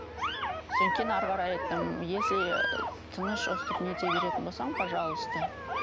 содан кейін әрі қарай айттым если тыныш өстіп нете беретін болсаң пожалуйста